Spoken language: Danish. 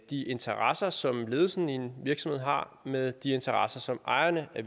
de interesser som ledelsen i en virksomhed har med de interesser som ejerne af